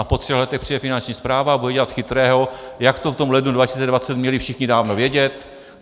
A po třech letech přijde Finanční správa a bude dělat chytrého, jak to v tom lednu 2020 měli všichni dávno vědět.